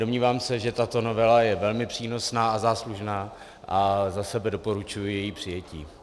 Domnívám se, že tato novela je velmi přínosná a záslužná, a za sebe doporučuji její přijetí.